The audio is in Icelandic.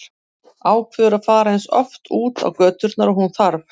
Ákveður að fara eins oft út á göturnar og hún þarf.